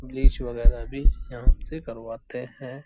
Bleach वगेरह भी यहाँ से करवाते हैं।